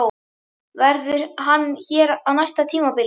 Verður hann hér á næsta tímabili?